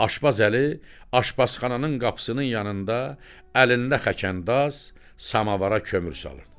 Aşbaz Əli aşbazxananın qapısının yanında əlində xəkəndaz samavara kömür salırdı.